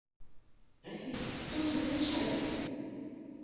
афина кто твой начальник